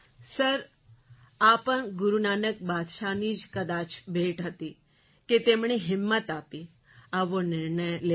sir આ પણ ગુરુ નાનક બાદશાહજીની કદાચ ભેટ હતી કે તેમણે હિંમત આપી આવો નિર્ણય લેવામાં